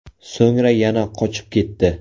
So‘ngra yana qochib ketdi.